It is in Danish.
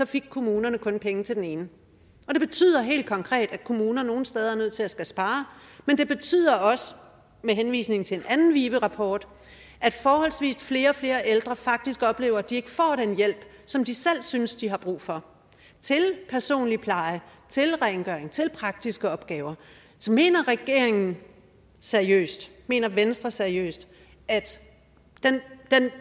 fik kommunerne kun penge til den ene det betyder helt konkret at kommuner nogle steder er nødt til skulle at spare men det betyder også med henvisning til en anden vive rapport at forholdsvis flere og flere ældre faktisk oplever at de ikke får den hjælp som de selv synes de har brug for til personlig pleje til rengøring til praktiske opgaver mener regeringen seriøst mener venstre seriøst at